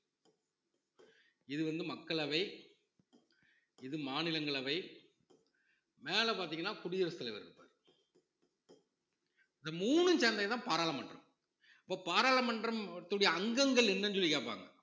இது வந்து மக்களவை இது மாநிலங்களவை மேல பார்த்தீங்கன்னா குடியரசு தலைவர் இருப்பாரு இந்த மூணும் சேர்ந்ததுதான் பாராளுமன்றம் இப்ப பாராளுமன்றத்துடைய அங்கங்கள் என்னன்னு சொல்லி கேட்பாங்க